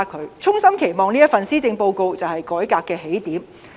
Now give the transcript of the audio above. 我衷心期望這一份施政報告就是改革的起點。